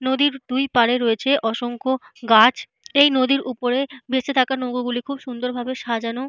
নদীর দুই পারে রয়েছে অসংখ্য গাছ। এই নদীর ওপরে ভেসে থাকা নৌকোগুলি খুব সুন্দর ভাবে সাজানো।